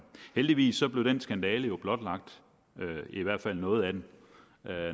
heldigvis blev den skandale blotlagt i hvert fald noget af den